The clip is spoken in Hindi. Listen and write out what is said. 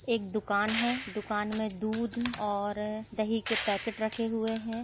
एक दुकान है दुकान में दूध और दही के पैकेट रखे हुए हैं।